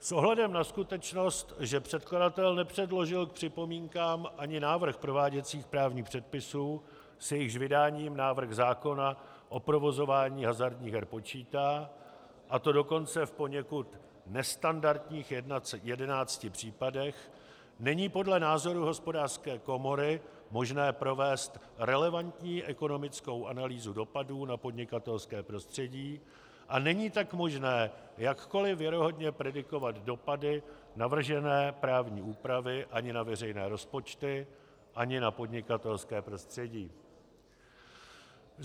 S ohledem na skutečnost, že předkladatel nepředložil k připomínkám ani návrh prováděcích právních předpisů, s jejichž vydáním návrh zákona o provozování hazardních her počítá, a to dokonce v poněkud nestandardních jedenácti případech, není podle názoru Hospodářské komory možné provést relevantní ekonomickou analýzu dopadů na podnikatelské prostředí, a není tak možné jakkoliv věrohodně predikovat dopady navržené právní úpravy ani na veřejné rozpočty, ani na podnikatelské prostředí.